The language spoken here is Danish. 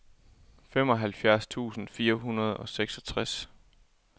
femoghalvfjerds tusind fire hundrede og seksogtres